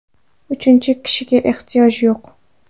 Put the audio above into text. Uchinchi kishiga ehtiyoj yo‘q.